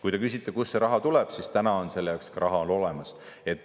Kui te küsite, kust see raha tuleb, siis täna on selle jaoks raha on olemas.